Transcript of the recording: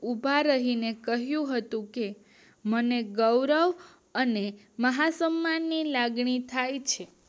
ઉભા રહીને કહ્યું હતું કે મને ગૌરવ અને મારા સન્માન ની લાગણી થાય છે